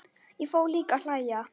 Ég fór líka að hlæja.